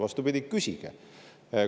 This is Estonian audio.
Vastupidi, küsige!